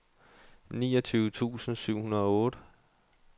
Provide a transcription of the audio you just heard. niogtyve tusind syv hundrede og otte